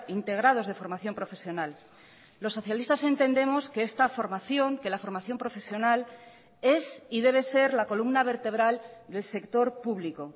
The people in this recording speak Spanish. integrados de formación profesional los socialistas entendemos que esta formación que la formación profesional es y debe ser la columna vertebral del sector público